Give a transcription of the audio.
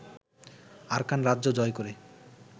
Arakan রাজ্য জয় করে